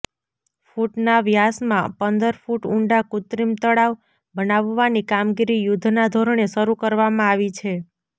ફૂટના વ્યાસમાં પંદર ફૂટ ઉંડા કૃત્રીમ તળાવ બનાવવાની કામગીરી યુદ્ધના ધોરણે શરૃ કરવામાં આવી છે